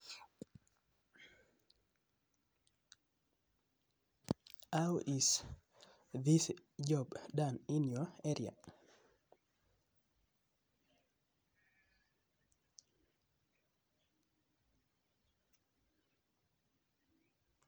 How is this job done in your area?